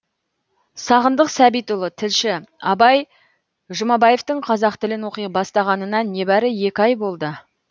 сағындық сәбитұлы тілші абай жұмабаевтың қазақ тілін оқи бастағанына небәрі екі ай болды